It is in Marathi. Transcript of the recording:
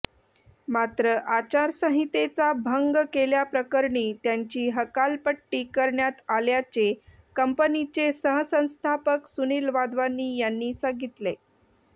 मात्र आचारसंहितेचा भंग केल्याप्रकरणी त्यांची हकालपट्टी करण्यात आल्याचे कंपनीचे सहसंस्थापक सुनील वाधवानी यांनी सांगितले